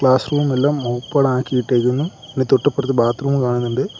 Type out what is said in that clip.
Class റൂമെല്ലാം ഓപ്പണാക്കി ഇട്ടേക്കുന്നു അതിനു തൊട്ടിപ്പുറത്ത് ബാത്റൂമ് കാണുന്നുണ്ട്.